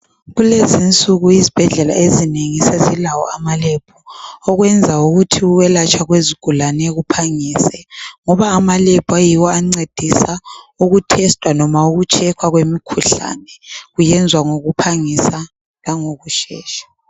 Kulezinsuku izibhedlela ezinengi sezilawo ama lab okwenza ukuthi ukwelatshwa kwezigulane kuphangise. Ngoba ama lab ayiwo ancedisa ukuthestwa noma ukutshekhwa kwemikhuhlane kuyenzwa ngokuphangisa langokushesha.